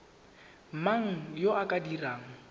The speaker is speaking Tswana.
mang yo o ka dirang